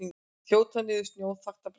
Þjóta niður snjóþakta brekkuna